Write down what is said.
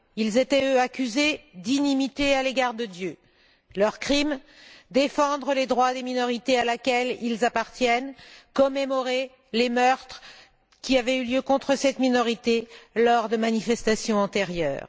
Ils étaient eux accusés d'inimitié à l'égard de Dieu. Leur crime défendre les droits de la minorité à laquelle ils appartiennent et commémorer les meurtres qui avaient eu lieu contre cette minorité lors de manifestations antérieures.